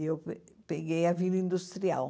E eu pe peguei a vila industrial.